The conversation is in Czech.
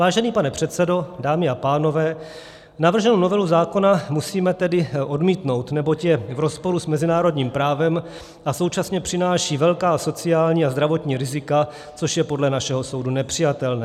Vážený pane předsedo, dámy a pánové, navrženou novelu zákona musíme tedy odmítnout, neboť je v rozporu s mezinárodním právem a současně přináší velká sociální a zdravotní rizika, což je podle našeho soudu nepřijatelné.